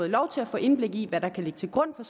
lov til at få indblik i hvad der kan ligge til grund for